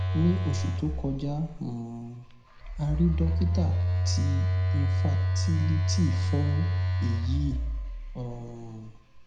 ni oṣu to kọja um a rii dokita ti infertility fun eyi um